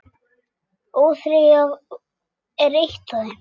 ÓÞREYJA er eitt af þeim.